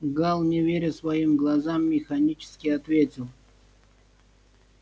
гаал не веря своим глазам механически ответил